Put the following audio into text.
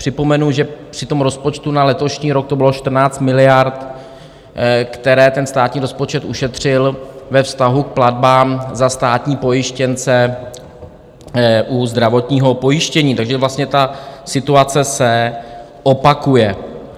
Připomenu, že při tom rozpočtu na letošní rok to bylo 14 miliard, které ten státní rozpočet ušetřil ve vztahu k platbám za státní pojištěnce u zdravotního pojištění, takže vlastně ta situace se opakuje.